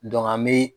an bɛ